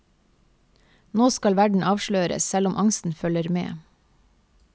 Nå skal verden avsløres, selv om angsten følger med.